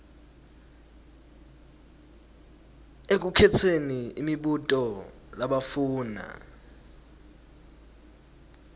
ekukhetseni imibuto labafuna